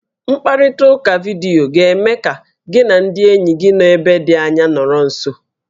Mkparịtaụka vidiyo ga-eme ka gị na ndị enyi gị nọ ebe dị anya nọrọ nso